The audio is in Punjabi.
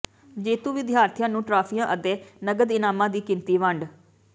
ਜੇਤੂ ਵਿਦਿਆਰਥੀਆਂ ਨੂੰ ਟਰਾਫੀਆਂ ਅਤੇ ਨਗਦ ਇਨਾਮਾਂ ਦੀ ਕੀਤੀ ਵੰਡ